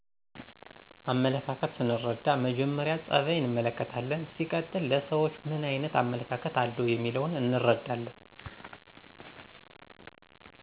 አመለካከት ሰንርዳ መጀመሪ ፀበይ እንመለከታለን ሲቀጥል ለሰውች ምን አይነት አመለካከተ አለው የሚለውን እንርዳለን።